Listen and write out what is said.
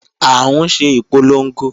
À ń ṣe ìpolongo